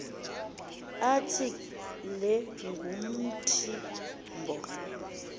athi le nguntimbo